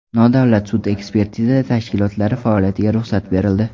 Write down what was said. Nodavlat sud-ekspertiza tashkilotlari faoliyatiga ruxsat berildi.